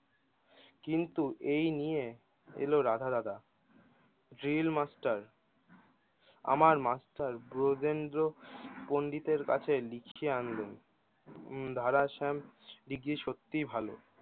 কিন্ত এই নিয়ে এলো রাধা দাদা জুয়েল মাষ্টার আমার মাস্টার ব্রজেন্দ্র পন্ডিতের কাছে লিখে আনলেন দাদা শ্যাম সত্যি ভালো